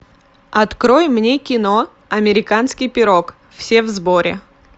открой мне кино американский пирог все в сборе